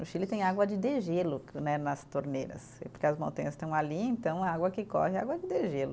No Chile tem água de degelo né nas torneiras, porque as montanhas estão ali, então a água que corre é água de degelo.